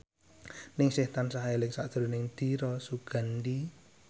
Ningsih tansah eling sakjroning Dira Sugandi